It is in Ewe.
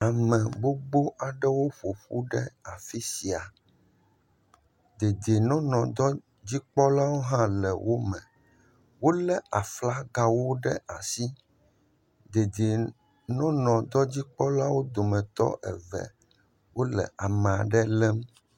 Ame gbogbo aɖewo ƒo ƒu ɖe afi sia. Dedienɔnɔ dɔdzikpɔlawo hã le wome. Wolé aflagawo ɖe asi. Dedienɔnɔ dɔdzikpalawo dometɔ eve wole ame aɖe lém.